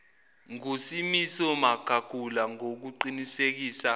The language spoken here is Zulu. ngusimiso magagula ngokuqinisekisa